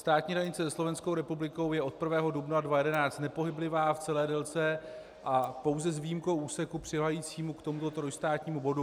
Státní hranice se Slovenskou republikou je od 1. dubna 2011 nepohyblivá v celé délce a pouze s výjimkou úseku přiléhajícímu k tomuto trojstátnímu bodu.